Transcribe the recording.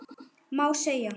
Má segja?